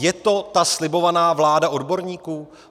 Je to ta slibovaná vláda odborníků?